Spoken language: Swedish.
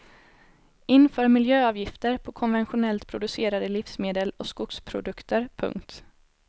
Inför miljöavgifter på konventionellt producerade livsmedel och skogsprodukter. punkt